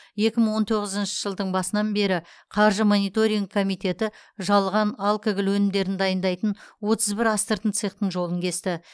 екі мың он тоғызыншы жылдың басынан бері қаржы мониторингі комитеті жалған алкоголь өнімдерін дайындайтын отыз бір астыртын цехтың жолын кесті